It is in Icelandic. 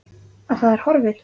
Að það er horfið!